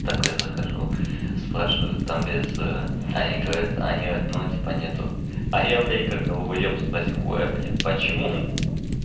такой захожу спрашиваю там без они говорят они вот ну типа нет а я блять как долбаёб спросил ой блин почему ха-ха